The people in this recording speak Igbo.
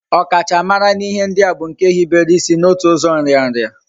Okachamara na ihe ndi a bu nke hibere isi na otu uzo nria nria